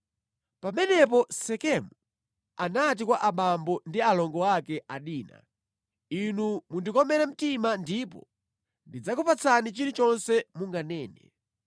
Pamenepo Sekemu anati kwa abambo ndi alongo ake a Dina, “Inu mundikomere mtima, ndipo ndidzakupatsani chilichonse munganene.